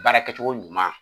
Baara kɛcogo ɲuman